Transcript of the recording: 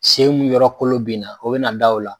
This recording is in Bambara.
Sen mun yɔrɔ kolo bɛ na o bɛ na da o la.